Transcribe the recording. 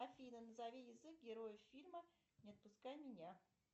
афина назови язык героев фильма не отпускай меня